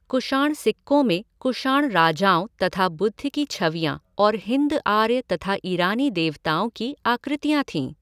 कुषाण सिक्कों में कुषाण राजाओं तथा बुद्ध की छवियां और हिन्द आर्य तथा ईरानी देवताओं की आकृतियां थीं।